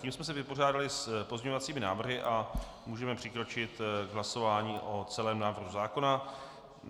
Tím jsme se vypořádali s pozměňovacími návrhy a můžeme přikročit k hlasování o celém návrhu zákona.